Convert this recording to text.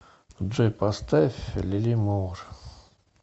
джой поставь лили мур